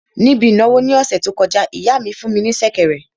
Níbi ìnáwó ní ọ̀sẹ̀ tó kọjá, ìyá mi fún ní sẹ̀kẹ̀rẹ̀